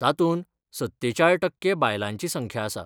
तांतूत सत्तेचाळ टक्के बायलांची संख्या आसा.